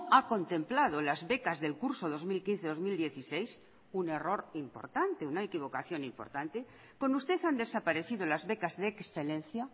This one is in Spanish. ha contemplado las becas del curso dos mil quince dos mil dieciséis un error importante una equivocación importante con usted han desaparecido las becas de excelencia